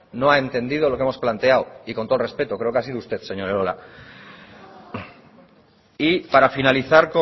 no ha entendido lo que hemos planteado y con todo el respeto creo que ha sido usted señor elola y para finalizar